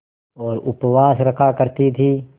और उपवास रखा करती थीं